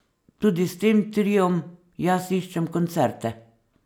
Tudi s tem triom jaz iščem koncerte.